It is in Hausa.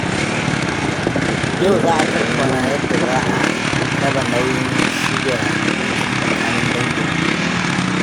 Yau za a tattauna yadda za a raba nauyin shirya biki tsakanin danginmu.